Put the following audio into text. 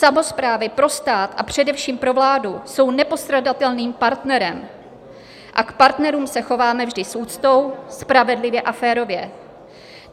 Samosprávy pro stát, a především pro vládu jsou nepostradatelným partnerem a k partnerům se chováme vždy s úctou, spravedlivě a férově.